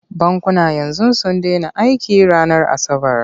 Bankuna yanzu sun dena aiki ranar asabar.